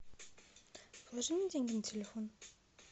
положи мне деньги на телефон